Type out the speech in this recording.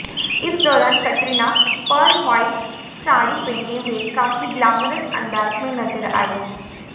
इस दौरान Katrina pearl white sari पहने हुए काफी ग्लैमरस अंदाज में नजर आईं